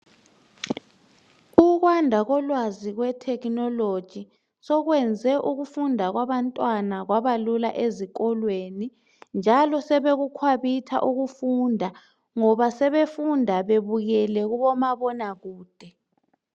Ukwanda kolwazi kwe Techonolgy sokwenze ukufunda kwabantwana kwabalula ezikolweni njalo sebekukhwabitha ukufunda ngoba sebefunda bebukele kubomabona kude.